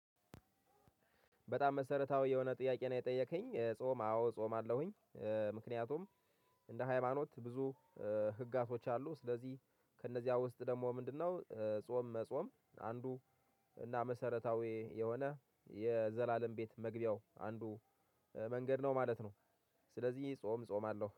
በጣም መሰረታዊ የሆነ ጥያቄ ነው የጠየከኝ ጾም አዎ ጾማለሁኝ። ምክንያቱም እንደ ሃይማኖት ብዙ ህግጋቶች አሉ ስለዚህ ከእነዚያ ውስጥ ደግሞ ምንድነው ጾም መጾም? አንዱ እና መሰረታዊ የሆነ የዘላለም ቤት መግቢያው አንዱ መንገድ ነው ማለት ነው። ስለዚህ ጾም ጾማለሁ